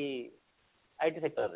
ଏଇ IT sector ରେ